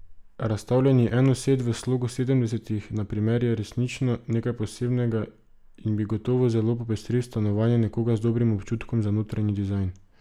Razstavljeni enosed v slogu sedemdesetih, na primer, je resnično nekaj posebnega in bi gotovo zelo popestril stanovanje nekoga z dobrim občutkom za notranji dizajn.